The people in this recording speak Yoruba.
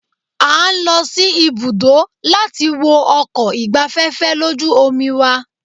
A ń lọ sí ibùdó láti wo ọkọ̀ ìgbafẹ́fẹ́ lójú omi wa.